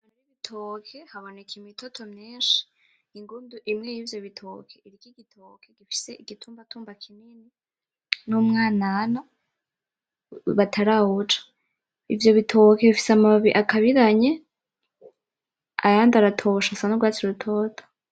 Igitoki haboneka imitoto myinshi, igundu imwe y'ivyo bitoke ifise igitumbambatumba